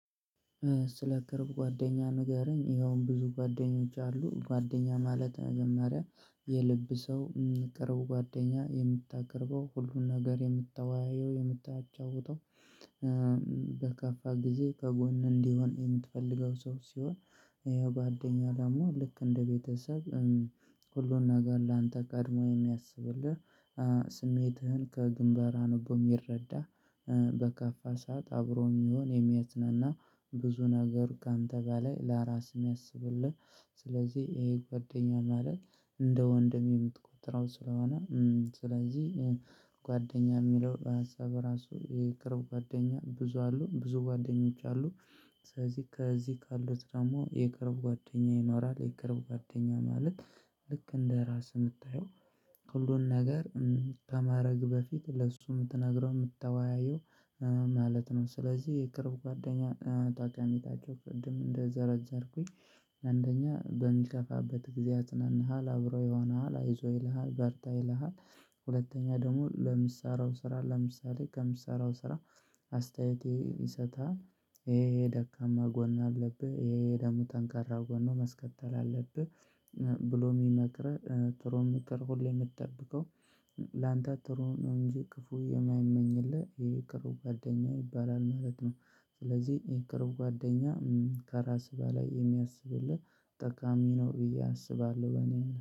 ስለ ቅርብ ጓደኛ ንገረኝ ይኸውም ብዙ ጓደኞች አሉ ጓደኛ ማለት መጀመሪያ የልብ ሰው ቅርቡ ጓደኛ የምታቀርበው ሁሉን ነገር የምታወያየው የምታጫውተው በከፋ ጊዜ ከጎን እንዲሆን የምትፈልገው ሰው ሲሆን የጓደኛ ደግሞ ልክ እንደ ቤተሰብ ሁሉን ነገር ላንተ ቀድሞ የሚያስብልህ ስሜትህን ከግንባር አንቦ የሚረዳ በከፋ ሰዓት አብሮ የሚሆን የሚያጽናና ብዙ ነገር ከአንተ ጋር ላይ ለራስህ የሚያስብልህ። ስለዚህ ይሄ ጓደኛ ማለት እንደ ወንድም የምትቆጥረው ስለሆነ። ስለዚህ ጓደኛ የሚለው ሀሳብ ራሱ የቅርብ ጓደኛ ብዙ አሉ ብዙ ጓደኞች አሉ። ስለዚህ ከዚህ ካሉት ደግሞ የቅርብ ጓደኛ ይኖራል። የቅርብ ጓደኛ ማለት ልክ እንደ ራስ የምታየው። ሁሉን ነገር ከማድረግ በፊት ለእሱ የምትነግረው የምታወያየው ማለት ነው። ስለዚህ የቅርብ ጓደኛ ታቅሜታቸው ፍድም እንደዘረዘርኩኝ አንደኛ በሚከፋበት ጊዜ ያጽናንሃል አብረው ይሆንሃል አይዞህ ይልሃል በርታ ይልሃል። ሁለተኛ ደግሞ ለምሰራው ስራ ለምሳሌ ከምሰራው ስራ አስተያየቴን ይሰጣል። ይሄ ደካማ ጎን አለብህ ይሄ ደግሞ ጠንካራ ጎን ነው መስቀጠል አለብህ። ብሎ የሚመክር ጥሩ ምክር ሁሌ የምትጠብቀው ላንተ ጥሩ ነው። እንጂ ክፉ የማይመኝ የለ ይሄ ቅርብ ጓደኛ ይባላል ማለት ነው። ስለዚህ ይሄ ቅርብ ጓደኛ ከራስ በላይ የሚያስብልህ ጠቃሚ ነው ብዬ አስባለሁ። በእኔ